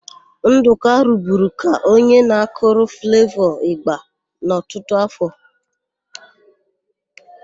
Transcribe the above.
Ndụka ruburu ka onye na-akụrụ Flevọ ị̀gbà n'ọtụtụ áfọ̀.